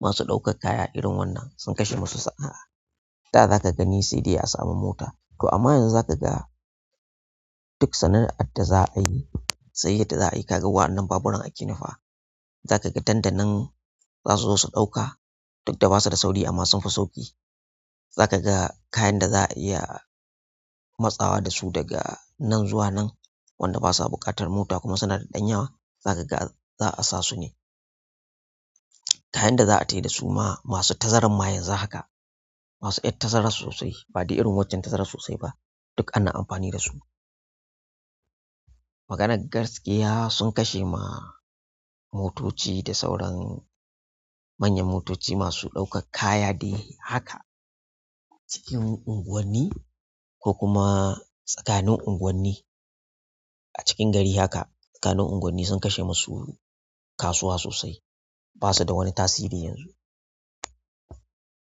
masu ɗaukar kaya irin wannan sun kashe masu sa'a. Da za ka gani sai dai a samu mota to amma yanzu za ka ga duk sana'adda za a yi, sayyadda za a yi kaga wannan baburan a ke nufa. Za ka ga dandankn za su zo su ɗauka duk da ba su da sauri amma sunfi sauƙi. Za ka ga kayan da za a iya matsawa da su daga nan zuwa nan, wanda ba sa buƙatar mota kuma suna da ɗan yawa za ka ga za a sa su ne. Kayan da za a taya da su ma masu tazarar ma yanzu haka, masu iya tazarar sosai baɗi irin waccen tazarar sosai ba duk ana amfani da su. Maganar gaskiya sun kashe ma motoci da sauran manyan motoci masu ɗaukar kaya dai haka. Cikin unguwanni ko kuma tsakanin unguwanni a cikin gari haka tsakanin unguwanni sun kashe masu kasuwa sosai. Ba su da wani tasiri yanzu.